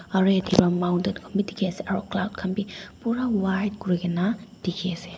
aru eta ra mountain khan bi dikhi ase aru cloud khan bi pura white kurikena dikhi ase.